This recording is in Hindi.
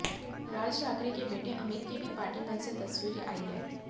राज ठाकरे के बेटे अमित की भी पार्टी मंच से तस्वीरें आई हैं